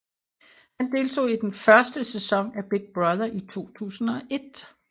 Han deltog i den første sæson af Big Brother i 2001